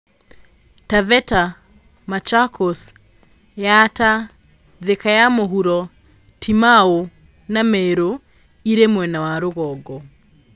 Taveta, Mchakos, Yatta, Thika ya mũhuro, Timau na Meru irĩ mwena wa rũgongo.